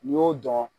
N'i y'o dɔn